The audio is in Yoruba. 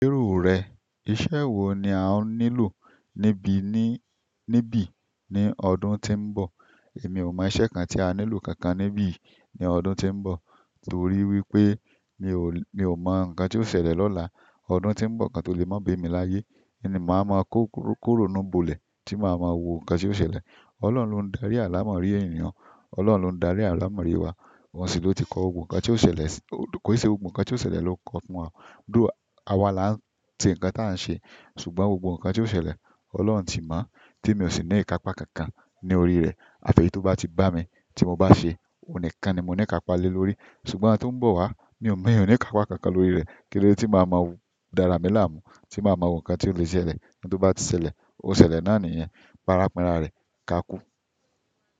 Irú rẹ̀, iṣẹ́ wo ni a ó nílò níbí ní níbí ní ọdún tí ń bọ̀? Èmi ò mọ iṣẹ́ kan tí a nílò kankan níbí ní ọdún tí ń bọ̀, torí wípé mi ò, mi ò mọ ǹkan tí ó ṣẹlẹ̀ lọ́la. Ọdún tí ń bọ̀ kan tó lè má ba emi láyé, oun ni máa ma ki ironú bọ̀lẹ̀ tí màá ma wo ǹkan tí ó ṣẹlẹ̀. Ọlọ́run ló ń darí àlàmọ̀rí ènìyàn, Ọlọ́run ló ń darí àlàmọ̀rí wa. Ọ́n sì ló ti kọ gbogbo nǹkan tí ó ṣẹlẹ̀ sí-- kò ì ṣe gbogbo nǹkan tí ó ṣẹlẹ̀ ló kọ fún wa. Though, awà la ń ṣe ǹkan tí à ń ṣe, ṣùgbọ́n gbogbo ǹkan tí ó ṣẹlẹ̀ Ọlọ́run ti mọ̀ tí mi ò sì ní ìkakpa kankan ní orí rẹ̀. Àfi èyí to bá ti bá mi tí mo bá ṣe, òun nìkan ni mo ní ìkapa lé lórí. Ṣùgbọ́n oun tó ń bọ̀ wá, mi ò mọ ní ìkapa kankan lórí rẹ̀. Kílódé tí màá ma dára mi láàmú, tí màá ma wo ǹkan tí ó lè ṣẹlẹ̀, bí ó bá ti ṣẹlẹ̀, ó ṣẹlẹ̀ náani yẹn, parapinra rẹ̀, kákú.